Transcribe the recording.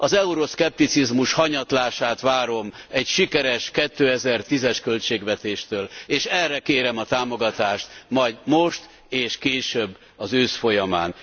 Az euroszkepticizmus hanyatlását várom egy sikeres 2010 es költségvetéstől, és erre kérem a támogatást majd most és később az ősz folyamán.